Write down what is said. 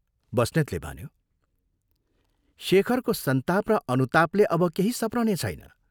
बस्नेतले भन्यो, " शेखरको संताप र अनुतापले अब केही सप्रनेछैन।